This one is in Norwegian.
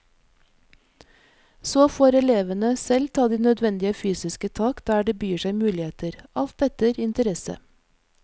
Så får elevene selv ta de nødvendige fysiske tak der det byr seg muligheter, alt etter interesse.